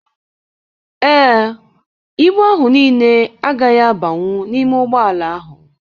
Ee, ibu ahụ niile agaghị abanwu n'ime ụgbọala ahụ.